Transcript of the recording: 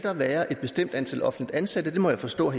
være et bestemt antal offentligt ansatte det må jeg forstå